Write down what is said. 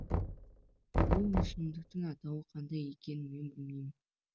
бұл өсімдіктің атауы қандай екенін мен білмеймін